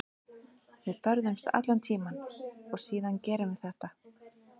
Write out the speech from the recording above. Við börðumst allan tímann og síðan gerum við þetta.